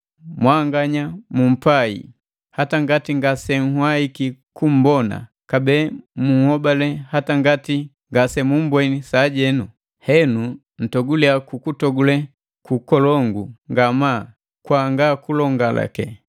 Mwanganya mumpai, hata ngati ngasenhwaiki kummbona, kabee munhobale hata ngati ngasemubweni sajenu. Henu ntogule kukutogule kukolongu ngamaa kwanga kulongaleka,